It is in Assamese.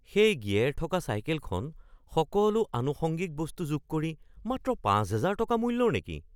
সেই গিয়েৰ থকা চাইকেলখন সকলো আনুষঙ্গিক বস্তু যোগ কৰি মাত্ৰ ৫০০০ টকা মূল্যৰ নেকি?